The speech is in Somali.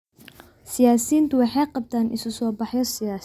Siyaasiyiintu waxay qabtaan isu soo baxyo siyaasadeed.